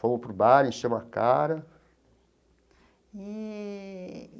Fomos para o bar, enchemos a cara. Eee.